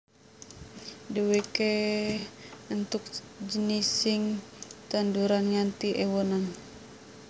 Dheweke entuk jinising tanduran nganti ewonan